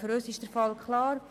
Für uns ist der Fall klar: